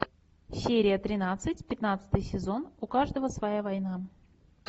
серия тринадцать пятнадцатый сезон у каждого своя война